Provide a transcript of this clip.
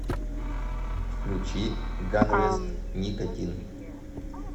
включи ганвест никотин